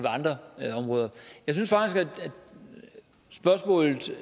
andre områder jeg synes faktisk at spørgsmålet